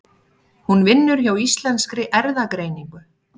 Hún vinnur hjá Íslenskri erfðagreiningu.